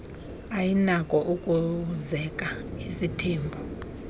ayinakho ukuzeka isithembu